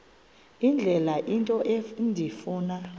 indlela into endifuna